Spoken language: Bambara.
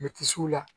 Me kisi u la